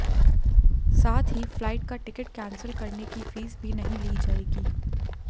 साथ ही फ्लाइट का टिकट कैंसिल करने की फीस भी नहीं ली जाएगी